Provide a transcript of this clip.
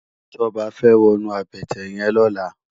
Toba fè wònú àbëtè yèn lòlá